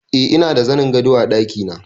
Eh ina da zanin gado a ɗakina